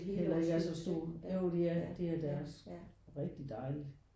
Heller ikke er så stor jo det er det er deres og rigtig dejligt